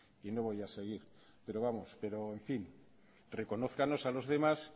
y no voy a seguir pero vamos pero en fin reconózcanos a los demás